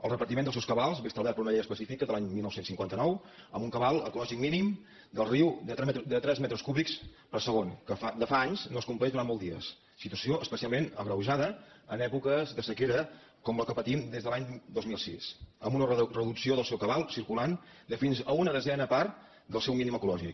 el repartiment dels seus cabals és establert per una llei específica de l’any dinou cinquanta nou amb un cabal ecològic mínim del riu de tres metres cúbics per segon que de fa anys no es compleix durant molts dies situació especialment agreujada en èpoques de sequera com la que patim des de l’any dos mil sis amb una reducció del seu cabal circulant de fins a una desena part del seu mínim ecològic